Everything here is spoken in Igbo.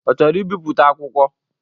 Ọ chọrọ ibiputa akwụkwọ?